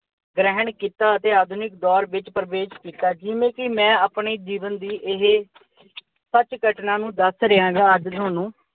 ਗ੍ਰਹਿਣ ਕੀਤਾ ਅਤੇ ਆਧੁਨਿਕ ਦੌਰ ਵਿੱਚ ਪ੍ਰਵੇਸ਼ ਕੀਤਾ ਜਿਵੇਂ ਕਿ ਆਪਣੇ ਜੀਵਨ ਦੀ ਇਹ ਸੱਚੀ ਘਟਨਾ ਦੱਸ ਰਿਹਾ ਅੱਜ ਤੁਹਾਨੂੰ।